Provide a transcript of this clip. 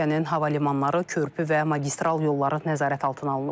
Ölkənin hava limanları, körpü və magistral yolları nəzarət altına alınıb.